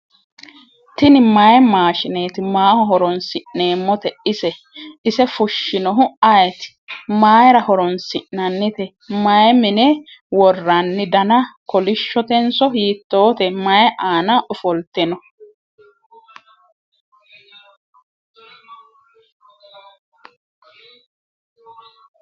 tini mayi maashshineeti maaho horonsi'neemmote ise fushshinohu ayeti ? mayra horoonsi'nannite ? may mine worranni dana kolishshotenso hiittoote ? mayi aana ofolte no